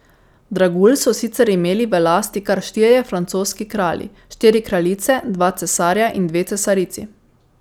Dragulj so sicer imeli v lasti kar štirje francoski kralji, štiri kraljice, dva cesarja in dve cesarici.